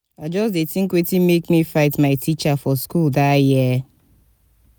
i just dey tink wetin make me fight my teacher for school dat year.